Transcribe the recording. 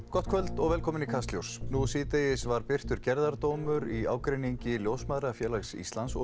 gott kvöld og velkomin í Kastljós nú síðdegis var birtur gerðardómur í ágreiningi Ljósmæðrafélags Íslands og